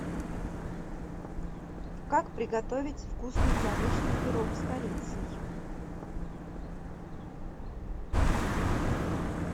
как приготовить вкусный яблочный пирог с корицей